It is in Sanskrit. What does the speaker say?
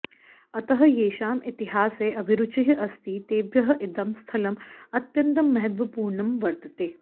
अतः येषाम् इतिहासे अभिरूचिः अस्ति तेभ्यः इदं स्थलम् अत्यन्तं महत्त्वपूर्णं वर्तते